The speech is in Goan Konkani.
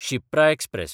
शिप्रा एक्सप्रॅस